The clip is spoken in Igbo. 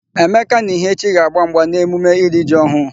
Emeka na Ihechi ga-agba mgba n'emume iri ji ọhụụ.